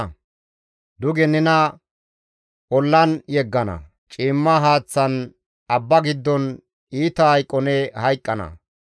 Nena duge nena ollan yeggana; ciimma haaththan abba giddon iita hayqo ne hayqqana.